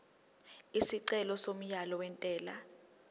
isicelo somyalo wentela